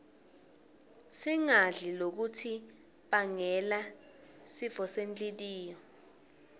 singadli lokutnsi bangela sifosenhltiyo